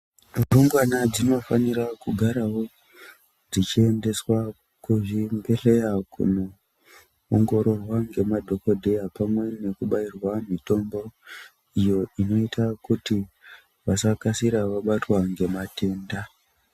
Rumbwana dzinofanira kugarawo dzichiendeswa kuzvibhedhleya kunoongororwa ngemadhogodheya pamwe nekubairwa mitombo iyo inoita kuti vasakasira vabatwa ngematenda.